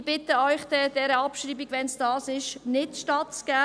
Ich bitte Sie, dieser Abschreibung, wenn es denn das ist, nicht stattzugeben.